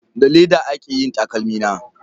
Da leda aka yi takalmi na